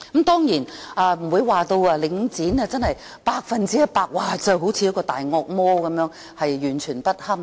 當然，我不會說領展是百分之一百的"大惡魔"，完全不堪。